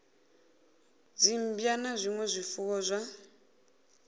dzimmbwa na zwinwe zwifuwo zwa